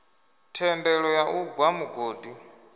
thendelo ya u gwa mugodi